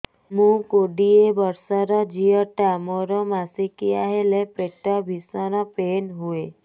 ମୁ କୋଡ଼ିଏ ବର୍ଷର ଝିଅ ଟା ମୋର ମାସିକିଆ ହେଲେ ପେଟ ଭୀଷଣ ପେନ ହୁଏ